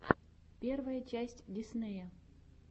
первая часть диснея